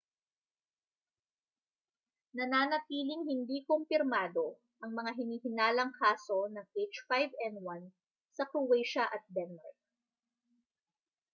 nananatiling hindi kumpirmado ang mga hinihinalang kaso ng h5n1 sa croatia at denmark